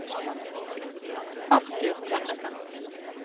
Arthur Tønnessen